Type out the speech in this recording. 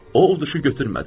O uduşu götürmədi.